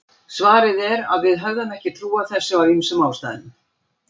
Svarið er að við höfum ekki trú á þessu af ýmsum ástæðum.